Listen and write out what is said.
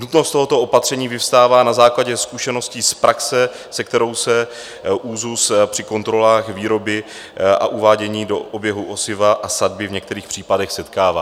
Nutnost tohoto opatření vyvstává na základě zkušeností z praxe, se kterou se ÚKZÚZ při kontrolách výroby a uvádění do oběhu osiva a sadby v některých případech setkává.